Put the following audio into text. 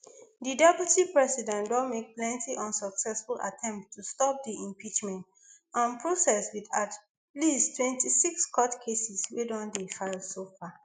di deputy president don make plenty unsuccessful attempts to stop di impeachment um process with at least twenty-six court cases wey don dey filed so far